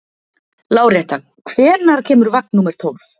Láretta, hvenær kemur vagn númer tólf?